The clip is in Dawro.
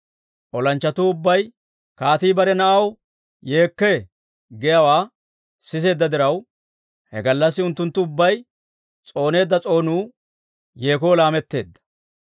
Olanchchatuu ubbay, «Kaatii bare na'aw yeekkee» giyaawaa siseedda diraw, he gallassi unttunttu ubbay s'ooneedda s'oonuu yeekoo laametteedda.